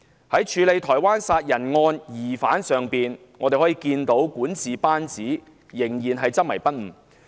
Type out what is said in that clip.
在處理台灣殺人案疑犯上，我們可看到管治班子仍然執迷不悟。